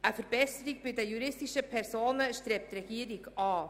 Die Regierung strebt eine Verbesserung bei den juristischen Personen an.